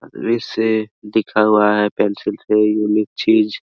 ऐसे लिखा हुआ हैपेंसिल से यूनिक चीज --